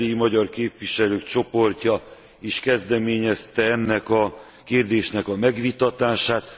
Az erdélyi magyar képviselők csoportja is kezdeményezte ennek a kérdésnek a megvitatását.